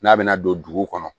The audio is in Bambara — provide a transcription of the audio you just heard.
N'a bɛna don dugu kɔnɔ